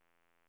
H